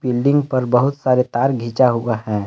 Building पर बहुत सारे तार घिचा हुआ है।